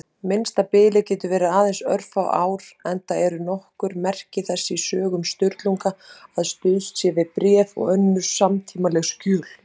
Minnsta bilið getur verið aðeins örfá ár, enda eru nokkur merki þess í sögum Sturlungu að stuðst sé við bréf og önnur samtímaleg skjöl.